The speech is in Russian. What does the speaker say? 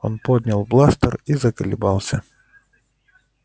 он поднял бластер и заколебался